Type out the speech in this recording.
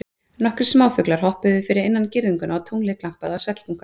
Nokkrir smáfuglar hoppuðu fyrir innan girðinguna og tunglið glampaði á svellbunka.